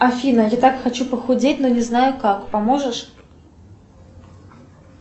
афина я так хочу похудеть но не знаю как поможешь